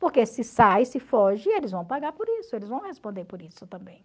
Porque se sai, se foge, eles vão pagar por isso, eles vão responder por isso também.